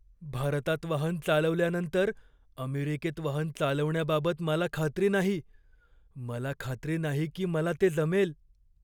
भारतात वाहन चालवल्यानंतर अमेरिकेत वाहन चालवण्याबाबत मला खात्री नाही. मला खात्री नाही की मला ते जमेल.